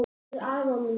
Til afa míns.